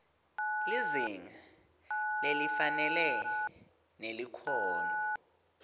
lizinga lelifanele nelikhono